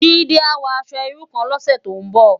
Jide á wò aṣò irú kán lòsè tó n bò